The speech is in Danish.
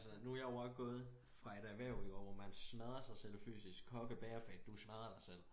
Altså nu er jeg også gået fra et erhverv hvor man smadrer sig selv fysisk kokke bagerfag du smadrer dig selv fysisk